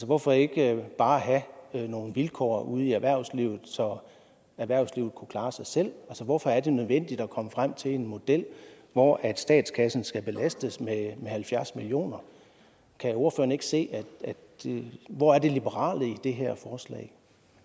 hvorfor ikke bare have nogle vilkår ude i erhvervslivet så erhvervslivet kunne klare sig selv hvorfor er det nødvendigt at komme frem til en model hvor statskassen skal belastes med halvfjerds million kr kan ordføreren ikke se det hvor er det liberale i det her forslag